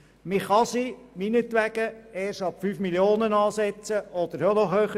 Man kann von mir aus ein Erbe erst ab einem Mindestbetrag von 5 Mio. Franken oder noch mehr besteuern.